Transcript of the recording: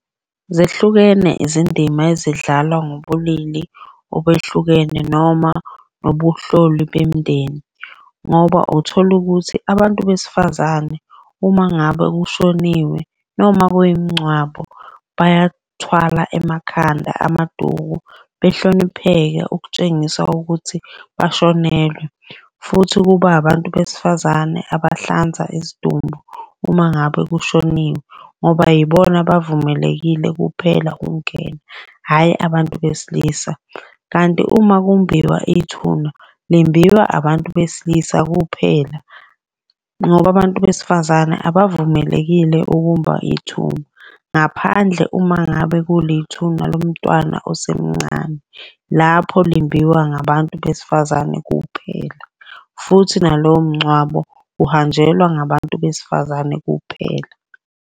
Zehlukene izindima ezidlalwa ngobulili obehlukene noma ubuhloli bemindeni ngoba uthola ukuthi abantu besifazane uma ngabe kushoniwe noma kuyi mingcwabo, bayathwala emakhanda amaduku. Behlonipheke ukutshengisa ukuthi bashonelwe, futhi kuba abantu besifazane abahlanza isidumbu uma ngabe kushoniwe, ngoba yibona abavumelekile kuphela ukungena hhayi abantu besilisa. Kanti uma kumbhiwa ithuna, limbiwa abantu besilisa kuphela ngoba abantu besifazane abavumelekile ukumba ithuba. Ngaphandle uma ngabe kulithuna lomntwana osemncane. Lapho limbiwa ngabantu besifazane kuphela, futhi nalowo mngcwabo uhanjelwa ngabantu besifazane kuphela.